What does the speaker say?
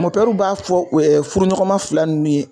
Mɔnpɛruw b'a fɔ e furuɲɔgɔnma fila nunnu ye